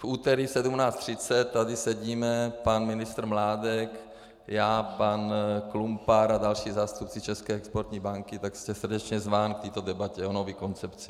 V úterý v 17.30 tady sedíme pan ministr Mládek, já, pan Klumpar a další zástupci České exportní banky, tak jste srdečně zván k této debatě o nové koncepci.